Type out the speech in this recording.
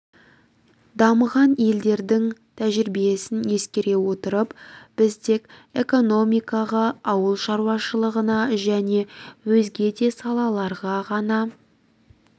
дамыған елдердің тәжірибесін ескере отырып біз тек экономикаға ауыл шаруашылығына және өзге де салаларға ғана